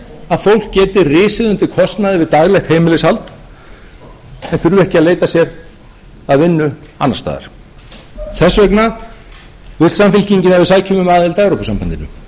að fólk geti risið undir kostnaði við daglegt heimilishald en þurfi ekki að leita sér að vinnu annars staðar þess vegna vill samfylkingin að við sækjum um aðild að evrópusambandinu það